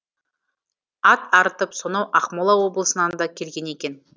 ат арытып сонау ақмола облысынан да келген екен